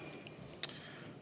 Teie aeg!